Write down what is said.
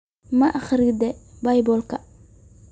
Ma akhridaa Baybalka?